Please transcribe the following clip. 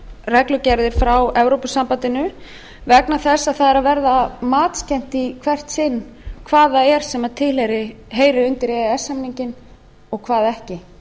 reglugerðir frá evrópusambandinu vegna þess að það er að verða matskennt í hvert sinn hvað það er sem heyrir undir e e s samninginn og hvað ekki